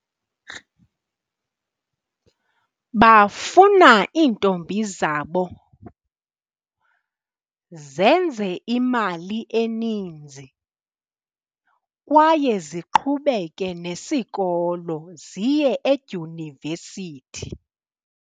Bafuna iintombi zabo zenze imali eninzi kwaye ziqhubeke nesikolo ziye edyunivesithi.